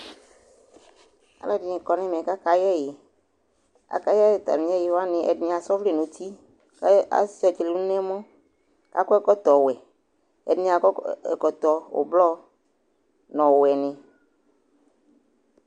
Alʋɛdɩnɩ kɔ nʋ ɛmɛ kʋ akayɛ ɛyɩ Akayɛ atamɩ ɛyɩ wanɩ Ɛdɩnɩ asa ɔvlɛ nʋ uti kʋ asʋɩa tselenu nʋ ɛmɔ kʋ akɔ ɛkɔtɔwɛ Ɛdɩnɩ akɔ ɛ ɛkɔtɔ ʋblɔ nʋ ɔwɛnɩ